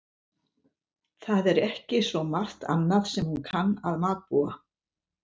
Það er ekki svo margt annað sem hún kann að matbúa.